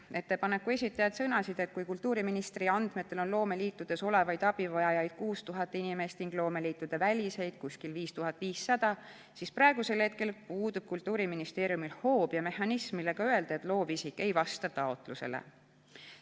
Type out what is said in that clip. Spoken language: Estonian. Ettepaneku esitajad sõnasid, et kui kultuuriministri andmetel on loomeliitudes olevaid abivajajaid 6000 inimest ning loomeliitude väliseid umbes 5500, siis praegu puudub Kultuuriministeeriumil hoob ja mehhanism, millega öelda, et loovisik ei vasta taotlusele.